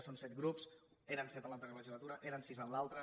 són set grups eren set en l’altra legislatura eren sis en l’altra